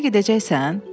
Müharibəyə gedəcəksən?